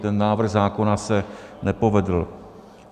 Ten návrh zákona se nepovedl.